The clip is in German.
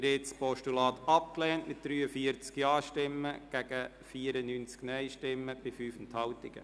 Sie haben das Postulat abgelehnt mit 43 Ja- gegen 94 Nein-Stimmen bei 5 Enthaltungen.